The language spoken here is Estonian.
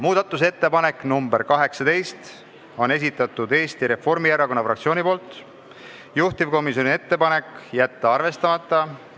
Muudatusettepanek nr 18 on Eesti Reformierakonna fraktsiooni esitatud, juhtivkomisjoni ettepanek: jätta arvestamata.